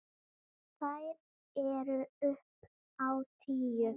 Þær eru upp á tíu.